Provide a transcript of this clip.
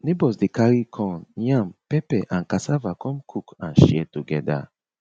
neighbours dey carry corn yam pepper and cassava come cook and share togeda